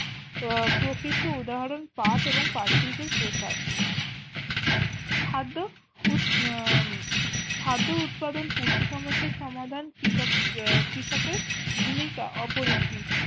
আহ প্রকৃষ্ট উদাহরণ কাঠ এবং কাচ শিল্পের প্রসার খাদ্য উদ উম আহ খাদ্য উৎপাদন পুষ্টির সমস্যার সমাধান কৃষক আহ কৃষকের ভূমিকা অপরিসীম